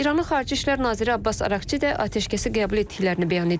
İranın Xarici İşlər Naziri Abbas Ərakçi də atəşkəsi qəbul etdiklərini bəyan edib.